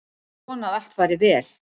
Ég vona að allt fari vel.